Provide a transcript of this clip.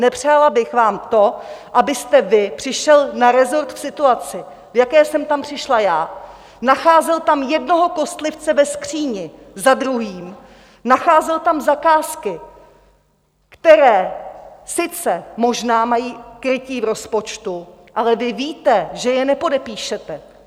Nepřála bych vám to, abyste vy přišel na resort v situaci, v jaké jsem tam přišla já, nacházel tam jednoho kostlivce ve skříni za druhým, nacházel tam zakázky, které sice možná mají krytí v rozpočtu, ale vy víte, že je nepodepíšete.